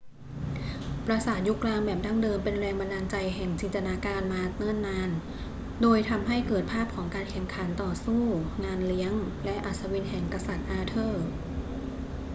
ปราสาทยุคกลางแบบดั้งเดิมเป็นแรงบันดาลใจแห่งจินตนาการมาเนิ่นนาน โดยทำให้เกิดภาพของการแข่งขันต่อสู้ งานเลี้ยง และอัศวินแห่งกษัตริย์อาเธอร์